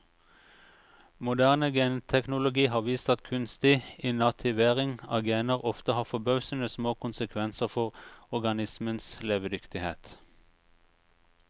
Moderne genteknologi har vist at kunstig inativering av gener ofte har forbausende små konsekvenser for organismens levedyktighet.